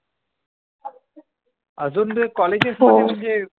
अजून कॉलेजेस मध्ये म्हणजे